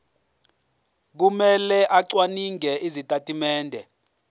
kumele acwaninge izitatimende